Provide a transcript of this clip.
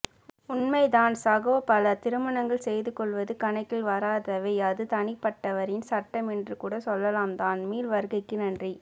உண்மைதான் சகோ பல திருமணங்கள் செய்து கொள்வது கணக்கில் வராதவையே அது தனிப்பட்டவரின் சட்டம் எனறுகூடசொல்லலாம்தான் மீள் வருகைககு நன்றி